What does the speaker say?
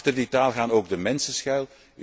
Achter die taal gaan ook de mensen schuil.